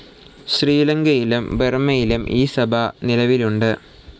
ശ്രീലങ്കയിലും ബർമയിലും ഈ സഭ നിലവിലുണ്ട്.